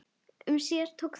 Um síðir tókst þó